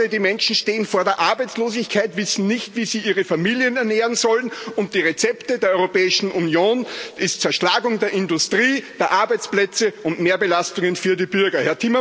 Die Menschen stehen vor der Arbeitslosigkeit, wissen nicht, wie sie ihre Familien ernähren sollen, und die Rezepte der Europäischen Union sind Zerschlagung der Industrie, der Arbeitsplätze und Mehrbelastungen für die Bürger.